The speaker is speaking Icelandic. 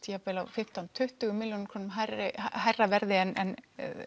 jafnvel fimmtán til tuttugu milljón krónu hærra hærra verði en